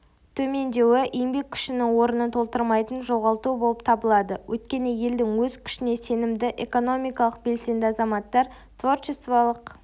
төмендеуі-еңбек күшінің орнын толтырмайтын жоғалту болып табылады өйткені елдің өз күшіне сенімді экономикалық белсенді азаматтар-творчестволық